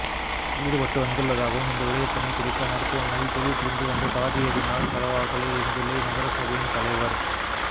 ஈடுபட்டு வந்துள்ளதாகவும் இந்த விடயத்தினை குறித்த மருத்துவமனையில் தொழில் புரிந்து வந்த தாதியரினால் தலவாகலை லிந்துளை நகரசபையின் தலைவர்